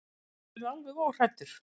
Þú getur verið alveg óhræddur.